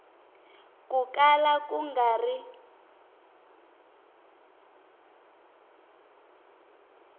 ko kala ku nga ri